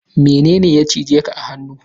Mene ne ya cije ka a hannu?